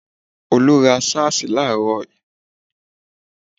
Olú ra sáàsì láààrò í